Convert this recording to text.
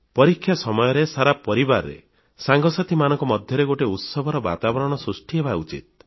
ପରୀକ୍ଷା ସମୟରେ ସାରା ପରିବାରରେ ସାଙ୍ଗସାଥିମାନଙ୍କ ମଧ୍ୟରେ ଗୋଟିଏ ଉତ୍ସବର ବାତାବରଣ ସୃଷ୍ଟି ହେବା ଉଚିତ